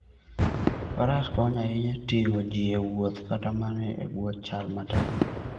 Faras konyo ahinya e ting'o ji e wuoth kata mana e bwo chal matek.